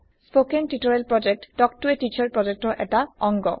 কথন শিক্ষণ প্ৰকল্প তাল্ক ত a টিচাৰ প্ৰকল্পৰ এটা অংগ